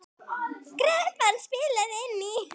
Kreppan spilaði inn í.